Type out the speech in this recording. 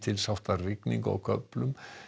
lítilsháttar rigningu á köflum